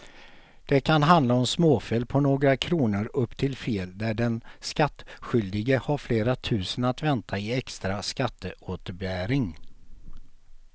Det kan handla om småfel på några kronor upp till fel där den skattskyldige har flera tusen att vänta i extra skatteåterbäring.